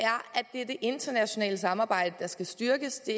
det er det internationale samarbejde der skal styrkes det